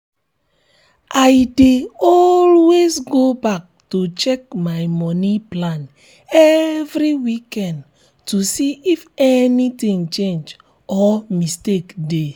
i dey always go back to check my moni plan every weekend to see if anything change or mistake dey.